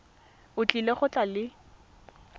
o tlile go tla le